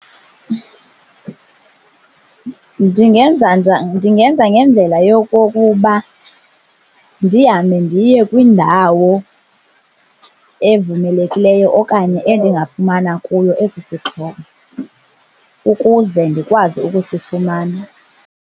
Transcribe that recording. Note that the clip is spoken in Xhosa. Ndingenza ngendlela yokokuba ndihambe ndiye kwindawo evumelekileyo okanye endingafumana kuyo esi sixhobo ukuze ndikwazi ukusifumana.